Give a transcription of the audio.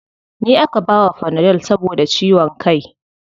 Ni aka bawa fanadol saboda ciwon kai.